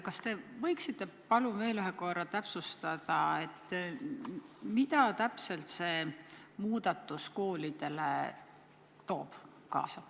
Kas te võiksite palun veel ühe korra täpsustada, mida täpselt see muudatus koolidele kaasa toob?